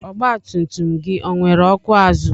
Ọgba tum tum gị ọ nwere ọkụ azụ?